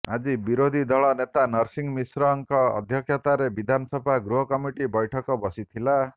ଆଜି ବିରୋଧୀ ଦଳ ନେତା ନରସିଂହ ମିଶ୍ରଙ୍କ ଅଧ୍ୟକ୍ଷତାରେ ବିଧାନସଭା ଗୃହ କମିଟି ବୈଠକ ବସିଥିଲା